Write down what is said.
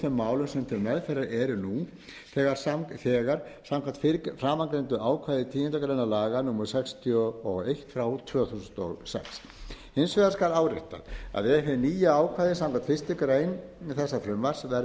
málum sem til meðferðar eru nú samkvæmt framangreindu ákvæði tíundu grein laga númer sextíu og eitt tvö þúsund og sex hins vegar skal áréttað að ef hið nýja ákvæði samkvæmt fyrstu grein þessa frumvarps verður að